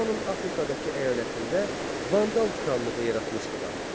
Romanın Afrikadakı əyalətində vandal krallığı yaratmışdılar.